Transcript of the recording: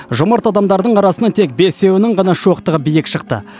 жомарт адамдардың арасынан тек бесеуінің ғана шоқтығы биік шықты